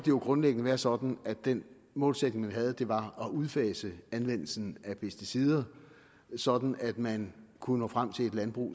jo grundlæggende være sådan at den målsætning vi havde var at udfase anvendelsen af pesticider sådan at man kunne nå frem til et landbrug og